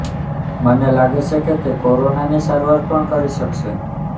મને લાગે છે કે તે કોરોનાની સારવાર પણ કરી શકશે